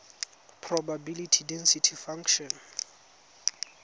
probability density function